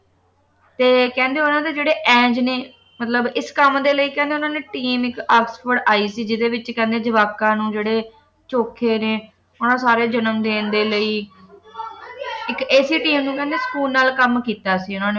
ਤੇ ਕਹਿੰਦੇ ਉਨ੍ਹਾਂ ਦੇ ਜਿਹੜੇ ਐਂਜ ਨੇ ਮਤਲਬ ਇਸ ਕੰਮ ਦੇ ਲਈ ਕਹਿੰਦੇ ਉਨ੍ਹਾਂ ਨੇ team ਇੱਕ ਆਕਸਫੋਰਡ ਆਈ ਸੀ ਜਿਹੜੇ ਵਿੱਚ ਕਹਿੰਦੇ ਜਵਾਕਾਂ ਨੂੰ ਜਿਹੜੇ ਚੋਖੇ ਨੇ ਉਨ੍ਹਾਂ ਸਾਰੀਆਂ ਨੂੰ ਜਨਮ ਦੇਣ ਦੇ ਲਈ ਇੱਕ ਐਸੀ team ਨੂੰ ਸਕੂਨ ਨਾਲ ਕੰਮ ਕੀਤਾ ਸੀ ਉਨ੍ਹਾਂ ਨੇ